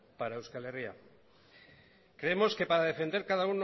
para euskal herria creemos que para defender cada